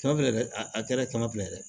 Kɛmɛ fila dɛ a kɛra kɛmɛ fila ye dɛ